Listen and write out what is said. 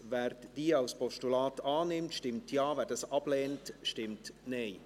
Wer diese als Postulat annimmt, stimmt Ja, wer sie ablehnt, stimmt Nein.